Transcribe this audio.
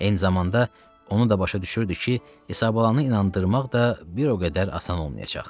Eyni zamanda onu da başa düşürdü ki, İsabalanı inandırmaq da bir o qədər asan olmayacaq.